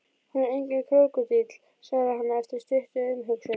Hún er enginn krókódíll, svarar hann eftir stutta umhugsun.